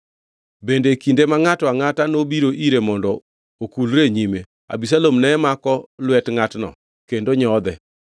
Bende e kinde ma ngʼato angʼata nobiro ire mondo okulre e nyime, Abisalom ne mako lwet ngʼatno kendo nyodhe.